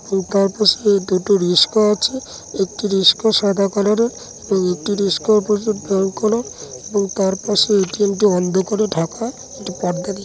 তার পিছনে দুটো রিশকা আছে একটি রিশকা সাদা কালার -এর এবং একটি রিশকা এবং তার পাশে এ.টি.এম (A.T.M) টি অন্ধকারে ঢাকা কিন্তু পর্দা দিয়ে --